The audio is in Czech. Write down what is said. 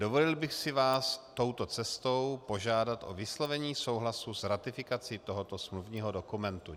Dovolil bych si vás touto cestou požádat o vyslovení souhlasu s ratifikací tohoto smluvního dokumentu.